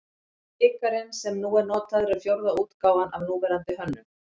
Bikarinn sem nú er notaður er fjórða útgáfan af núverandi hönnun.